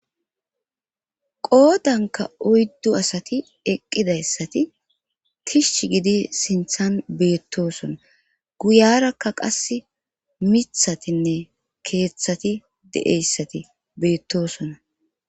qoodanka oyddu asati eqqidayssati tish gidi sinthan beettosona guyarakka qass mithatinne keeththati de7eyssati beettosona